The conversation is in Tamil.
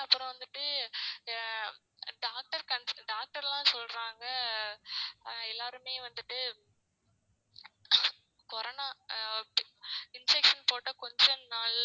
அப்புறம் வந்துட்டு ஆஹ் doctor doctor லாம் சொல்றாங்க அஹ் எல்லாருமே வந்துட்டு அஹ் corona அஹ் injection போட்ட கொஞ்சம் நாள்ல